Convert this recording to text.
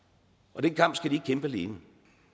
og den kamp skal de ikke kæmpe alene